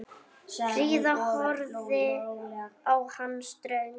Fríða horfði á hann ströng.